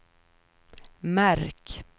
märk